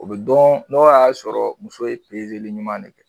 O bɛ dɔn n'o y'a sɔrɔ muso ye pezeli ɲuman ne kɛ.